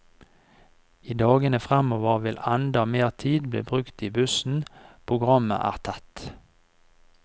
I dagene fremover vil enda mer tid bli brukt i bussen, programmet er tett.